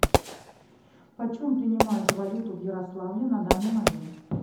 почем принимают валюту в ярославле на данный момент